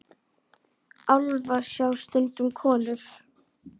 Álfa sjá stundum konur.